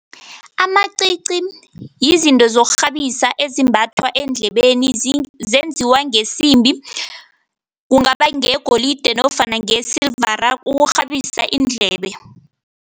Amacici yizinto zokurhabisa ezimbathwa endlebeni zenziwa ngesimbi, kungaba ngeyegolide nofana ngeyesilivara, ukurhabisa iindlebe.